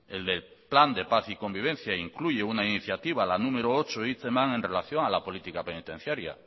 el del plan de paz y convivencia incluye una iniciativa la número ocho en relación a la política penitenciaria